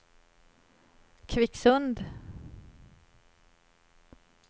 Kvicksund